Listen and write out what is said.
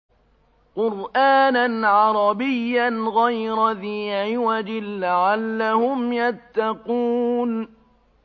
قُرْآنًا عَرَبِيًّا غَيْرَ ذِي عِوَجٍ لَّعَلَّهُمْ يَتَّقُونَ